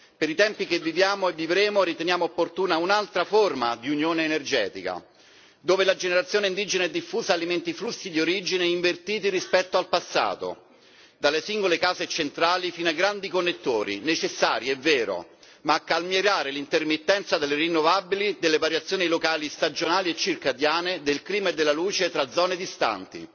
Per i tempi in cui viviamo e vivremo, riteniamo opportuna un'altra forma di unione energetica dove la generazione indigena e diffusa alimenti flussi di origine invertiti rispetto al passato dalle singole case e centrali fino ai grandi connettori necessari è vero, ma a calmierare l'intermittenza delle rinnovabili delle variazioni locali stagionali e circadiane del clima e della luce tra zone distanti.